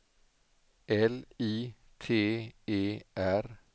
L I T E R